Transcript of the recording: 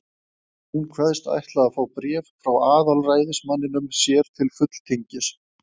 Hún kveðst ætla að fá bréf frá aðalræðismanninum sér til fulltingis.